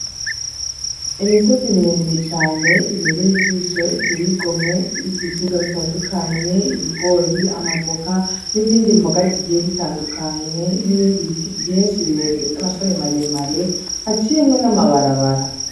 Imisozi miremire cane ibereye ijisho iteye igomwe iriko ibiterwa bitandukanye ; ibigori, amavoka n'izindi mboga zigiye zitandukanye n'ibindi biti vyishi birebire vyamashami maremare haciyemwo n'amabarabara.